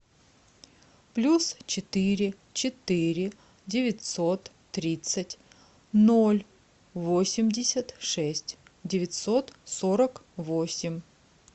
плюс четыре четыре девятьсот тридцать ноль восемьдесят шесть девятьсот сорок восемь